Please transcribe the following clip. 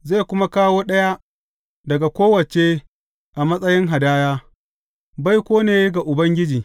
Zai kuma kawo ɗaya daga kowace a matsayin hadaya, baiko ne ga Ubangiji.